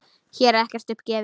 Hér er ekkert upp gefið.